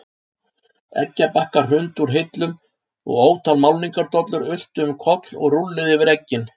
Eggjabakkar hrundu úr hillum og ótal málningardollur ultu um koll og rúlluðu yfir eggin.